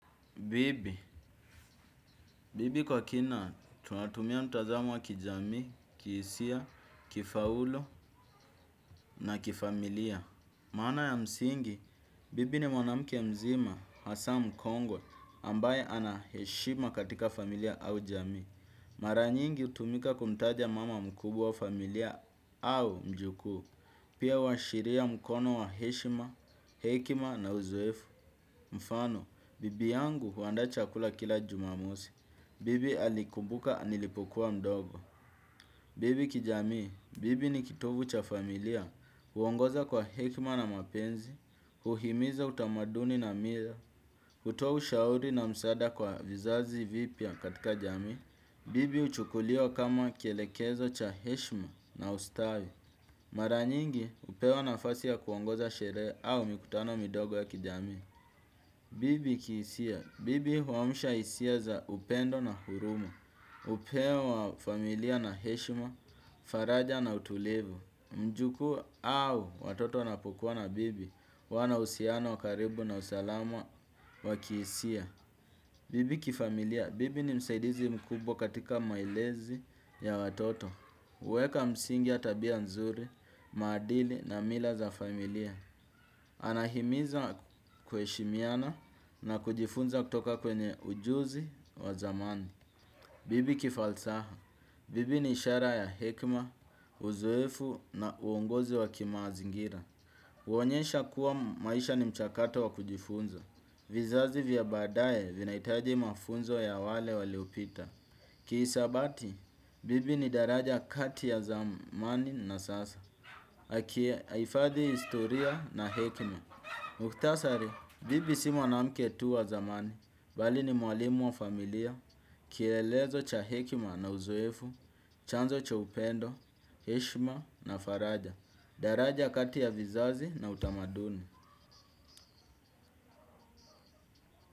Bibi, bibi kwa kina, tunatumia mtazamo wa kijamii, kihisia, kifaulu na kifamilia. Maana ya msingi, bibi ni mwanamke mzima, hasa mkongwe, ambaye ana heshima katika familia au jamii. Mara nyingi hutumika kumtaja mama mkubwa wa familia au mjukuu. Pia huashiria mkono wa heshima, hekima na uzoefu. Mfano, bibi yangu huandaa chakula kila jumamosi. Bibi alikubuka nilipokuwa mdogo. Bibi kijamii, bibi ni kitovu cha familia, huongoza kwa hekma na mapenzi, huhimiza utamaduni na mila, hutoa ushauri na msaada kwa vizazi vipya katika jamii. Bibi huchukuliwa kama kielekezo cha heshma na ustawi. Mara nyingi, hupewa nafasi ya kuongoza sherehe au mikutano midogo ya kijamii. Bibi kihisia. Bibi huamsha hisia za upendo na huruma, hupewa familia na heshima, faraja na utulivu. Mjukuu au watoto wanapokua na bibi, huwa na uhusiano wa karibu na usalama wa kihisia. Bibi kifamilia. Bibi ni msaidizi mkubwa katika maelezi ya watoto. Huweka msingi ya tabia nzuri, maadili na mila za familia. Anahimiza kujifunza kutoka kwenye ujuzi wa zamani. Bibi kifalsaha. Bibi ni ishara ya hekma, uzoefu na uongozi wa kimazingira. Huonyesha kuwa maisha ni mchakato wa kujifunza. Vizazi vya baadaye vinahitaji mafunzo ya wale waliopita. Kihisabati. Bibi ni daraja kati ya zamani na sasa. Akiye ahifadhi historia na hekima. Mukhtasari, bibi si mwanamke tu wa zamani. Bali ni mwalimu wa familia, kielezo cha hekima na uzoefu, chanzo cha upendo, heshma na faraja, daraja kati ya vizazi na utamaduni.